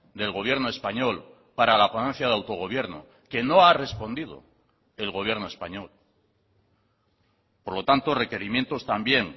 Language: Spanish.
del gobierno español para la ponencia de autogobierno que no ha respondido el gobierno español por lo tanto requerimientos también